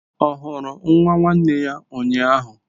Ọ hụrụ nwa nwanne ya ụnyahụ?